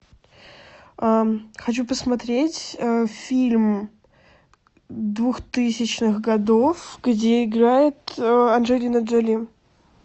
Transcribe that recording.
хочу посмотреть фильм двухтысячных годов где играет анджелина джоли